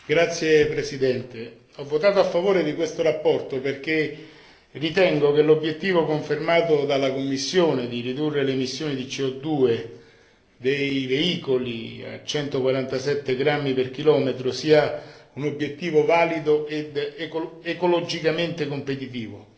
Signor Presidente, ho votato a favore della relazione perché ritengo che l'obiettivo confermato dalla Commissione di ridurre le emissioni di CO dei veicoli a 147 grammi per chilometro sia un obiettivo valido ed ecologicamente competitivo.